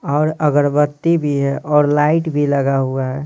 और अगरबत्ती भी है और लाइट भी लगा हुआ है।